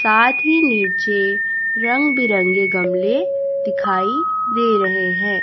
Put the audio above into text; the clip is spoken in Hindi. साथ ही नीचे रंग-बिरंगे गमले दिखाई दे रहे है।